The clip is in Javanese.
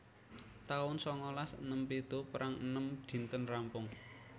taun sangalas enem pitu Perang enem dinten rampung